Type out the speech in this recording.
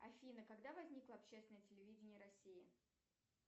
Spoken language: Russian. афина когда возникло общественное телевидение россии